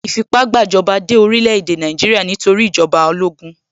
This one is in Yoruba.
Ìfipá-gbàjọba dé orílẹ̀-èdè Nàìjíríà nítorí ìjọba ológun.